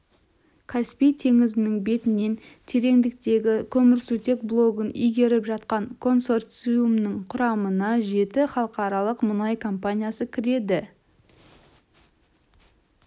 каспий теңізінің бетінен тереңдіктегі көмірсутек блогын игеріп жатқан консорциумның құрамына жеті халықаралық мұнай компаниясы кіреді